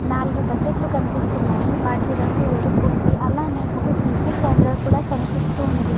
నాలుగు బకెట్ లు కనిపిస్తున్నాయి. వాటి రంగు ఎరుపు ఉంది. అలాగే ఒక సి. సి కెమెరా కూడా కనిపిస్తూ వుంది.